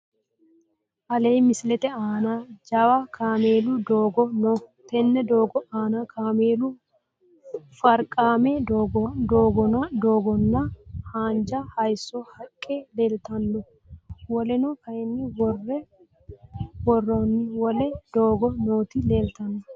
Alen misilete Anna jawa camelu dogo noo ,tenne dogo Anna camelu farqame doogona hanja hayso haqe leltano woluno kaynni woron I wole dogo notti leltano